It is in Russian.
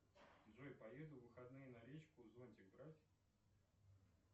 джой поеду в выходные на речку зонтик брать